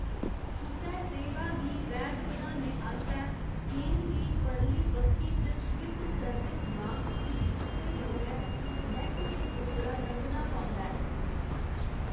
कुसै सेवा गी वैध बनाने आस्तै गेंद गी परली बक्खी च स्थित सर्विस बाक्स गी छूह्‌‌‌ते बगैर नैट्ट दे उप्परा लंघना पौंदा ऐ।